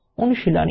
অনুশীলনী